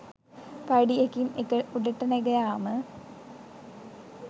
පඩි එකින් එක උඩට නැග යාම